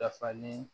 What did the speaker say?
Dafalen